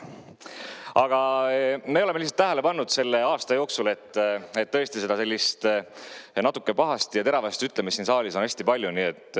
Aga me oleme lihtsalt tähele pannud selle aasta jooksul, et tõesti sellist natuke pahasti ja teravasti ütlemist siin saalis on hästi palju.